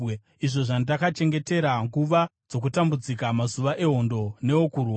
izvo zvandakachengetera nguva dzokutambudzika, mazuva ehondo neokurwa?